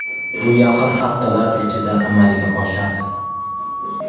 Bu yaqin haftalar ichida amalga oshadi.